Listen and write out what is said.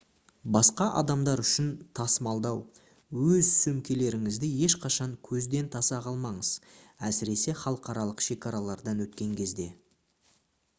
басқа адамдар үшін тасымалдау өз сөмкелеріңізді ешқашан көзден таса қылмаңыз әсіресе халықаралық шекаралардан өткен кезде